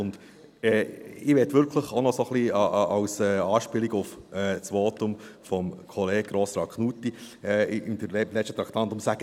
Ich möchte wirklich auch noch ein wenig als Anspielung auf das Votum von Kollege Grossrat Knutti im letzten Traktandum sagen: